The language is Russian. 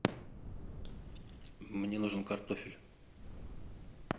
мне нужен картофель